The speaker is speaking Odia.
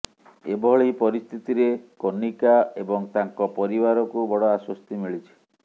ଏଭଳି ପରିସ୍ଥିତିରେ କନିକା ଏବଂ ତାଙ୍କ ପରିବାରକୁ ବଡ଼ ଆଶ୍ୱସ୍ତି ମିଳିଛି